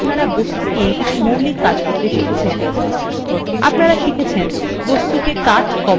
in টিউটোরিয়ালটিতে আপনারা বস্তু নিয়ে কিছু মৌলিক কাজ শিখেছেন আপনারা শিখেছেন